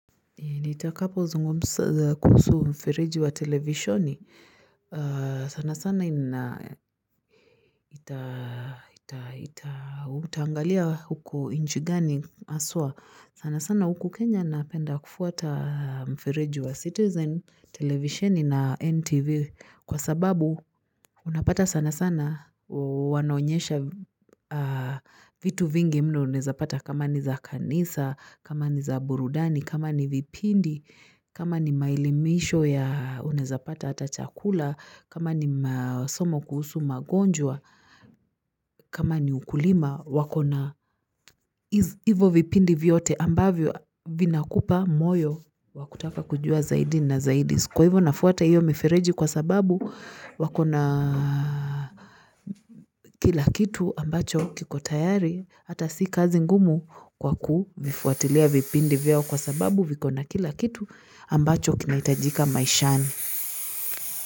Ni takapo zungumsa kuhusu mfereji wa televishoni. Sana sana itaa utaangalia huku nchi gani haswa. Sana sana huku Kenya napenda kufuata mfereji wa citizen televisheni na NTV kwa sababu unapata sana sana wanaonyesha vitu vingi mno unaezapata kama ni za kanisa, kama ni za burudani, kama ni vipindi. Kama ni maelimisho ya unaezapata hata chakula, kama ni masomo kuhusu magonjwa, kama ni ukulima wakona hivo vipindi vyote ambavyo vinakupa moyo wakutaka kujua zaidi na zaidi. Kwa hivyo nafuata hivyo mifereji kwa sababu wakona kila kitu ambacho kikotayari hata si kazi ngumu kwa ku vifuatilia vipindi vyote kwa sababu vikona kila kitu ambacho kinahitajika maishani.